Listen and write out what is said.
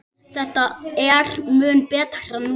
Þetta er mun betra núna.